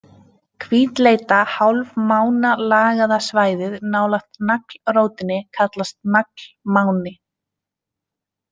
Hvítleita hálfmánalagaða svæðið nálægt naglrótinni kallast naglmáni.